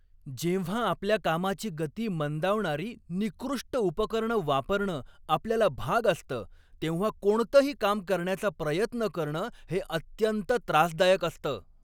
जेव्हा आपल्या कामाची गती मंदावणारी निकृष्ट उपकरणं वापरणं आपल्याला भाग असतं, तेव्हा कोणतंही काम करण्याचा प्रयत्न करणं हे अत्यंत त्रासदायक असतं.